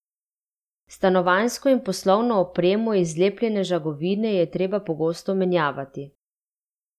Stanovanjsko in poslovno opremo iz zlepljene žagovine je treba pogosto menjavati.